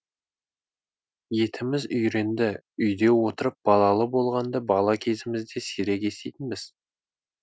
етіміз үйренді үйде отырып балалы болғанды бала кезімізде сирек еститінбіз